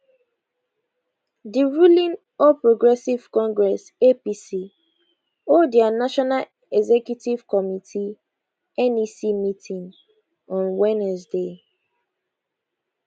di ruling all progressives congress apc hold dia national executive committee nec meeting on wednesday